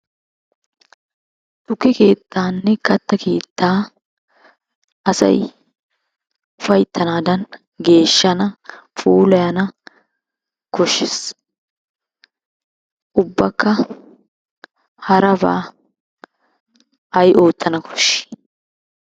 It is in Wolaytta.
Tukke keettaanne katta keettaa asay ufayttanaadan geeshshana puulayanna koshshees. Ubbakka harabaa ay oottana koshshi?